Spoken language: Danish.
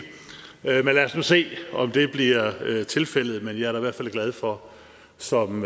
men lad os nu se om det bliver tilfældet men jeg er da i hvert fald glad for som